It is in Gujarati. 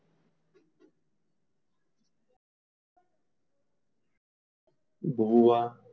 ભૂવા,